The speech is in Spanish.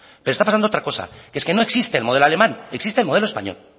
pero está pasando otra cosa y es que no existe el modelo alemán existe el modelo español